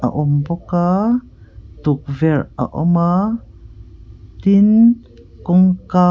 awm bawk a tukverh a awm a tin kawngka--